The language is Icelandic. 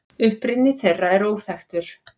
Uppruni þeirra er óþekktur.